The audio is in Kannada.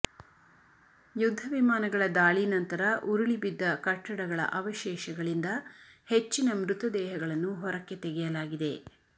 ಯುದ್ಧ ವಿಮಾನಗಳ ದಾಳಿ ನಂತರ ಉರುಳಿಬಿದ್ದ ಕಟ್ಟಡಗಳ ಆವಶೇಷಗಳಿಂದ ಹೆಚ್ಚಿನ ಮೃತದೇಹಗಳನ್ನು ಹೊರಕ್ಕೆ ತೆಗೆಯಲಾಗಿದೆ